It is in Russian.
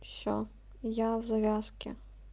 все я в завязке